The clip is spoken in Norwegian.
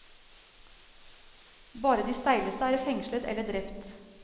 Bare de steileste er fengslet eller drept.